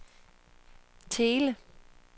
Thele